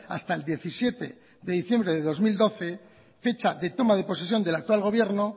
hasta el diecisiete de diciembre del dos mil doce fecha de toma de posesión del actual gobierno